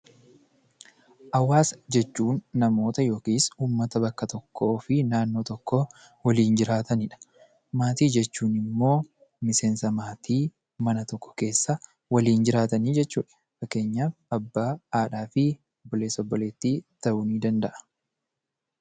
Hawaasa jechuun namoota yookiin uummata bakka tokkoo fi naannoo tokko waliin jiraatanidha. Maatii jechuun immoo miseensa maatii mana tokko keessa waliin jiraatanii jechuudha. Fakkeenyaaf abbaa, haadha fi obboleessa, obboleettii ta'uu danda'a